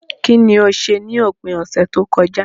Kíní o se ni òpin ọ̀sẹ̀ tókojá